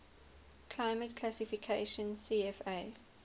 climate classification cfa